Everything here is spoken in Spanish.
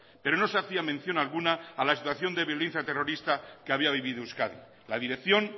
pero no se hacía mención alguna a la situación de violencia terrorista que había vivido euskadi la dirección